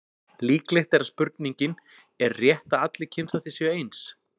Líklegt er að spurningin Er rétt að allir kynþættir séu eins?